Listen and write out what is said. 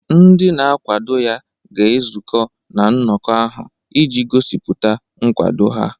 Ndị na-akwado ya ga-ezukọ na nnọkọ ahụ iji gosipụta nkwado ha.